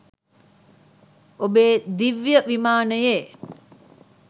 ඔබේ දිව්‍ය විමානයේ